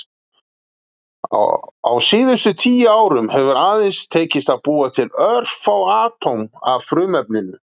Á síðustu tíu árum hefur aðeins tekist að búa til örfá atóm af frumefninu.